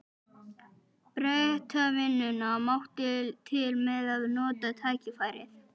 Bretavinnuna, mátti til með að nota tækifærið.